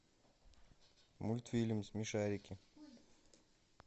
мультфильм смешарики